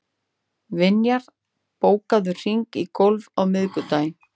Vinjar, bókaðu hring í golf á miðvikudaginn.